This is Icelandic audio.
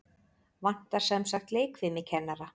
Vantar semsagt leikfimikennara?